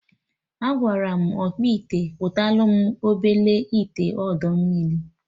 Agwara m ọkpụite kpụtalụ m obele ite ọdọ mmiri